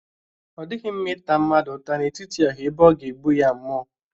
O dighi mma ita mmadu uta n'etiti oha ebe o ga-egbu ya mmuo